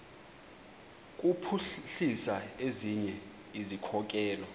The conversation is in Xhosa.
kuphuhlisa ezinye izikhokelo